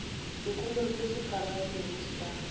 sekolong se se phagamego sa